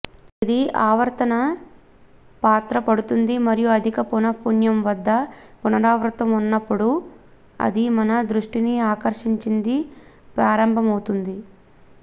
ఇది ఆవర్తన పాత్ర పడుతుంది మరియు అధిక పౌనఃపున్యం వద్ద పునరావృతం ఉన్నప్పుడు అది మన దృష్టిని ఆకర్షించింది ప్రారంభమవుతుంది